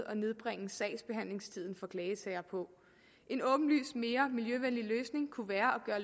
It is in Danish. at nedbringe sagsbehandlingstiden for klagesager på en åbenlyst mere miljøvenlig løsning kunne være at